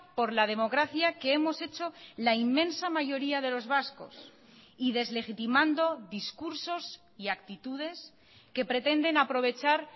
por la democracia que hemos hecho la inmensa mayoría de los vascos y deslegitimando discursos y actitudes que pretenden aprovechar